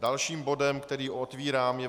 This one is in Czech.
Dalším bodem, který otvírám, je